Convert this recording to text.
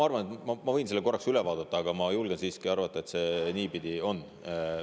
Ma võin selle korraks üle vaadata, aga ma julgen siiski arvata, et nii see on.